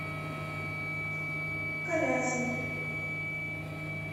калязин